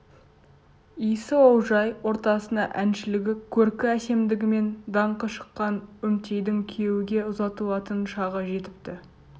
иісі олжай ортасына әншілігі көркі әсемдігімен даңқы шыққан үмтейдің күйеуге ұзатылатын шағы жетіпті